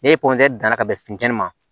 Ne danna ka bɛn funteni ma